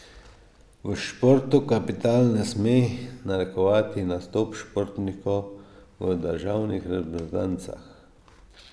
V športu kapital ne sme narekovati nastopov športnikov v državnih reprezentancah.